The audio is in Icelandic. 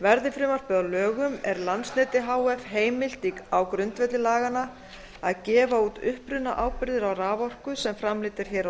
verði frumvarpið að lögum er landsneti h f heimilt á grundvelli laganna að gefa út upprunaábyrgðir á raforku sem framleidd er hér á